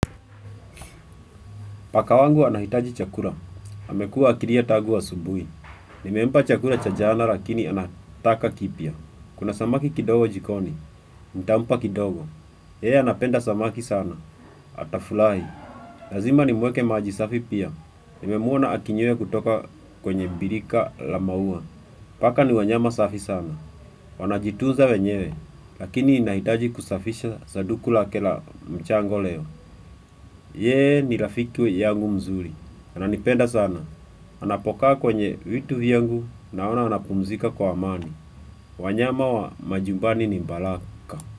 Paka wangu anahitaji chakula. Amekuwa akilia tangu asubuhi. Nimempa chakula cha jana lakini anataka kipya. Kuna samaki kidogo jikoni, ntampa kidogo. Yeye anapenda samaki sana. Atafurahi. Lazima nimwekee maji safi pia. Nimemwona akinywe kutoka kwenye birika la maua. Paka ni wanyama safi sana. Wanajitunza wenyewe. Lakini nahitaji kusafisha saduku lake la mchanga leo. Yeye ni rafiki yangu mzuri. Ananipenda sana. Anapokaa kwenye vitu vyangu naona anapumzika kwa amani. Wanyama wa majumbani ni baraka.